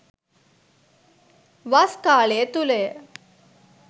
වස් කාලය තුළ ය